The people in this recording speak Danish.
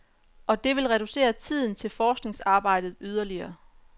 Og det vil reducere tiden til forskningsarbejdet yderligere.